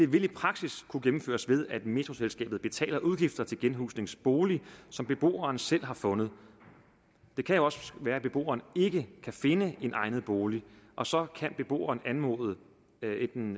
vil i praksis kunne gennemføres ved at metroselskabet betaler udgifter til genhusningsbolig som beboeren selv har fundet det kan også være at beboeren ikke kan finde en egnet bolig og så kan beboeren anmode enten